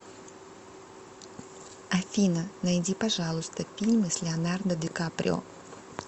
афина найди пожалуйста фильмы с леонардо дикаприо